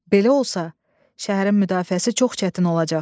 Belə olsa, şəhərin müdafiəsi çox çətin olacaq.